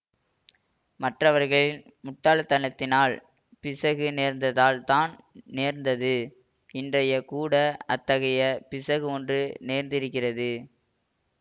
மற்றவர்களின் முட்டாள்தனத்தினால் பிசகு நேர்ந்தால்தான் நேர்ந்தது இன்றைய கூட அத்தகைய பிசகு ஒன்று நேர்ந்திருக்கிறது